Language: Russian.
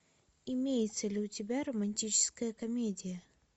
имеется ли у тебя романтическая комедия